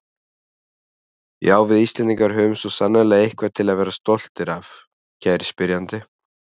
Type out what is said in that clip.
Já, við Íslendingar höfum svo sannarlega eitthvað til að vera stoltir af, kæri spyrjandi.